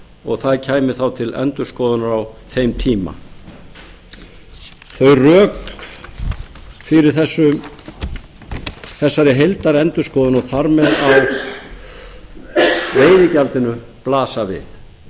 og það kæmi þá til endurskoðunar á þeim tíma þau rök fyrir þessari heildarendurskoðun og þar með á veiðigjaldinu blasa við